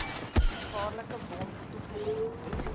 gevaarlike wond toegedien